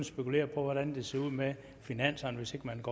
spekulere på hvordan det ser ud med finanserne hvis ikke man